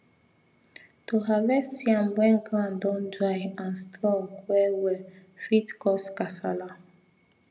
to harvest yam when ground don dry and strong well well fit cause kasala